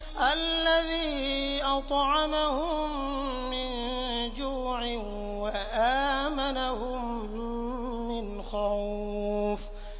الَّذِي أَطْعَمَهُم مِّن جُوعٍ وَآمَنَهُم مِّنْ خَوْفٍ